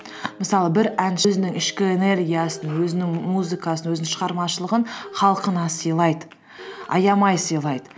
мысалы бір өзінің ішкі энергиясын өзінің музыкасын өзінің шығармашылығын халқына сыйлайды аямай сыйлайды